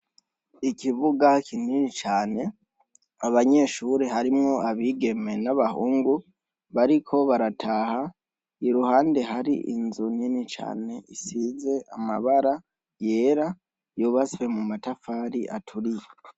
Ikivuga kinini cane abanyeshuri harimwo abigeme n'abahungu bariko barataha, iruhande hari inzu nini cane isize amabara yera yobaswe mu matafari aturiye.